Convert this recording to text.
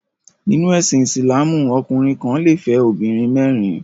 Nínú ẹsìn Ìsìlámù ọkùnrin kan le fẹ́ obìnrin mẹ́rin.